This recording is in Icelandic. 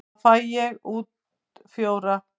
Þá fæ ég út fjóra.